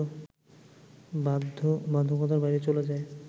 বাধ্যবাধকতার বাইরে চলে যায়